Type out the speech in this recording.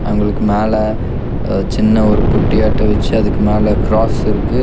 அவங்களுக்கு மேல அ சின்ன ஒரு பொட்டியாட்ட வெச்சு அதுக்கு மேல கிராஸ் இருக்கு.